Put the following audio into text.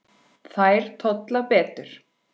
Þær tolla betur.